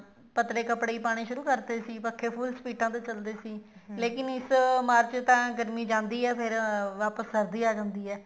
ਪਤਲੇ ਕੱਪੜੇ ਹੀ ਪਾਉਣੇ ਸ਼ੁਰੂ ਕਰਤੇ ਸੀ ਪੱਖੇ full ਸਪੀਡਾ ਤੇ ਚੱਲਦੇ ਸੀ ਲੇਕਿਨ ਇਸ ਮਾਰਚ ਤਾਂ ਗਰਮੀ ਜਾਂਦੀ ਹੈ ਵਾਪਿਸ ਸਰਦੀ ਆ ਜਾਂਦੀ ਹੈ